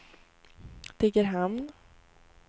Degerhamn